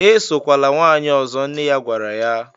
"Esokwala nwanyị ọzọ” nne ya gwara ya